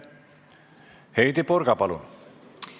Heidy Purga, palun!